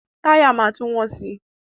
Táyà máa tún wọ́n si.